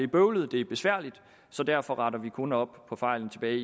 bøvlet det er besværligt så derfor retter vi kun op på fejlene tilbage